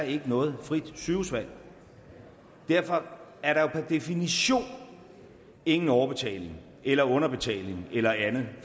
ikke noget frit sygehusvalg derfor er der jo per definition ingen overbetaling eller underbetaling eller andet